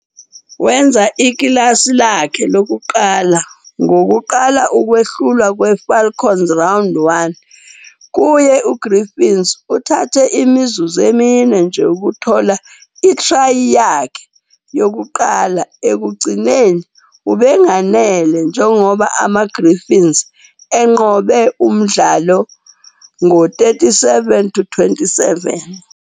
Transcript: Wenza ikilasi lakhe lokuqala lokuqala ngokuqala ukwehlulwa kweFalcons 'Round One' kuye UGriffons, uthathe imizuzu emine nje ukuthola i-try yakhe yokuqala, ekugcineni obekunganele njengoba amaGriffons enqobe umdlalo ngo-37-27.